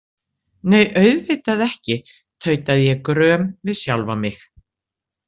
Nei, auðvitað ekki, tautaði ég gröm við sjálfa mig.